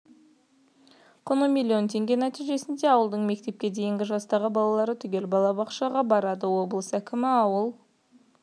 құны миллион теңге нәтижесінде ауылдың мектепке дейінгі жастағы балалары түгел балабақшаға барады облыс әкімі ауыл